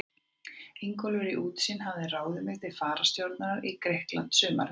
Ingólfur í Útsýn hafði ráðið mig til fararstjórnar í Grikklandi sumarið